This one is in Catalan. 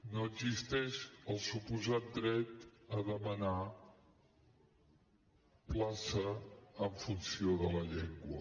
no existeix el suposat dret a demanar plaça en funció de la llengua